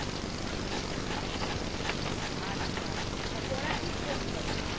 আচ্ছা আচ্ছা তা পড়াচ্ছিস কোন ঘরে?